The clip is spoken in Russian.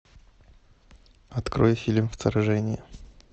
открой фильм вторжение